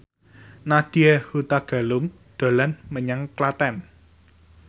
Nadya Hutagalung dolan menyang Klaten